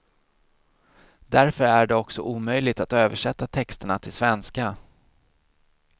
Därför är det också omöjligt att översätta texterna till svenska.